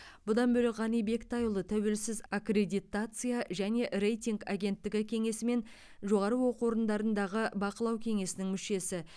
бұдан бөлек ғани бектайұлы тәуелсіз аккредитация және рейтинг агенттігі кеңесі мен жоғары оқу орындарындағы бақылау кеңесінің мүшесі